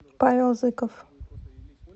павел зыков